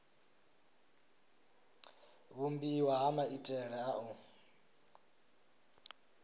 vhumbiwa ha maitele a u